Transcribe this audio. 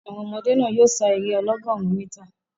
Àwọn ọmọdé náà yóò sá eré ọlọ́gọ̀rún mítà.